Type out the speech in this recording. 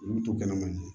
Olu bɛ to kɛnɛ man di